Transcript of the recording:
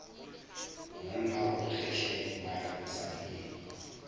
monna o kgehlemanya mosadi le